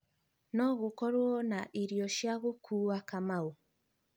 no gūkorūo na irio cia gūkuwa kamau